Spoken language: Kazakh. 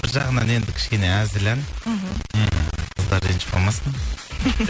бір жағынан енді кішкене әзіл ән мхм қыздар ренжіп қалмасын